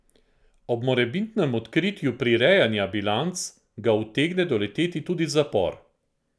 Ob morebitnem odkritju prirejanja bilanc ga utegne doleteti tudi zapor.